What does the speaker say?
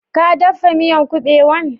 Ka daffa miyan kubewan?